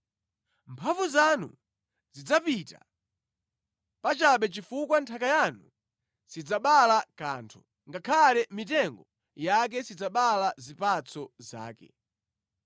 Mphamvu zanu zidzapita pachabe chifukwa nthaka yanu sidzabala kanthu, ngakhale mitengo yake sidzabala zipatso zake.